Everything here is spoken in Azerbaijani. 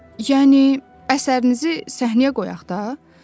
Yəni əsərinizi səhnəyə qoyaq da.